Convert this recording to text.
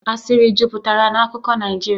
Asịrị jupụtara na akụkọ Naijiria